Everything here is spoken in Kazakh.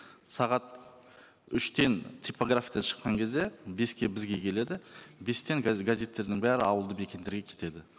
сағат үштен типографиядан шыққан кезде беске бізге келеді бестен қазір газеттердің бәрі ауылды мекендерге кетеді